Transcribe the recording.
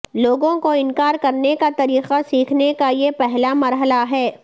لوگوں کو انکار کرنے کا طریقہ سیکھنے کا یہ پہلا مرحلہ ہے